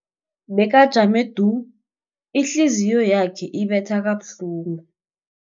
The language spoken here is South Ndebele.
Bekajame du, ihliziyo yakhe ibetha kabuhlungu.